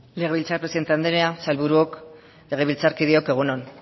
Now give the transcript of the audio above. legebiltzar presidente andrea sailburuok legebiltzarkideok egun on